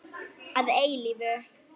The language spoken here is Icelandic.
Að eilífu.